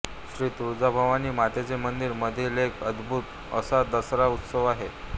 श्री तुळजाभवानी मातेच्या मंदिर मधील एक अदभूत असा दसरा उत्सव आहे